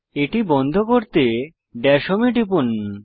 এটি বন্ধ করতে দাশ হোম এ টিপুন